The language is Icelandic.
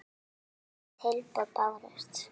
Engin tilboð bárust.